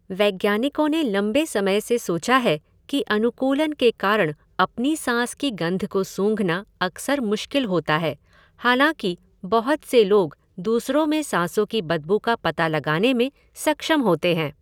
वैज्ञानिकों ने लंबे समय से सोचा है कि अनुकूलन के कारण अपनी साँस की गंध को सूँघना अक्सर मुश्किल होता है, हालाँकि बहुत से लोग दूसरों में साँसों की बदबू का पता लगाने में सक्षम होते हैं।